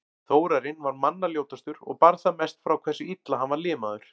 Þórarinn var manna ljótastur og bar það mest frá hversu illa hann var limaður.